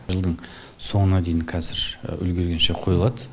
жылдың соңына дейін қазір үлгіргенше қойылады